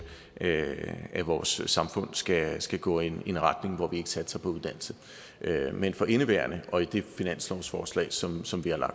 at at vores samfund skal skal gå i en retning hvor vi ikke satser på uddannelse men for indeværende og i det finanslovsforslag som som vi har